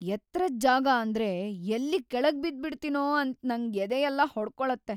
ಎತ್ರದ್ ಜಾಗ ಅಂದ್ರೆ ಎಲ್ಲಿ ಕೆಳಗ್‌ ಬಿದ್ಬಿಡ್ತೀನೋ ಅಂತ ನಂಗ್ ಎದೆಯೆಲ್ಲ ಹೊಡ್ಕೊಳತ್ತೆ.